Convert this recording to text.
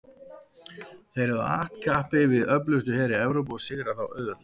þeir höfðu att kappi við öflugustu heri evrópu og sigrað þá auðveldlega